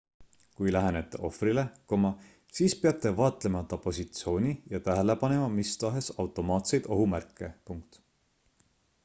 kui lähenete ohvrile siis peate vaatlema ta positsiooni ja tähele panema mistahes automaatseid ohumärke